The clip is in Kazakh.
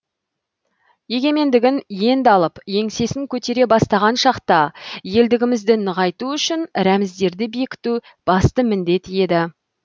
егенмендігін енді алып еңсесін көтере бастаған шақта елдігімізді нығайту үшін рәміздерді бекіту басты міндет еді